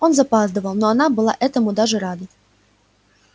он запаздывал но она была этому даже рада